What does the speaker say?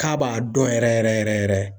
K'a b'a dɔn yɛrɛ yɛrɛ yɛrɛ yɛrɛ.